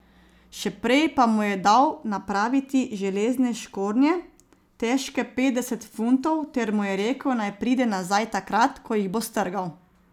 Še prej pa mu je dal napraviti železne škornje, težke petdeset funtov ter mu je rekel, naj pride nazaj takrat, ko jih bo strgal.